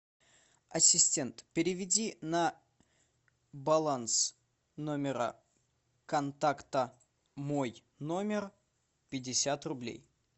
ассистент переведи на баланс номера контакта мой номер пятьдесят рублей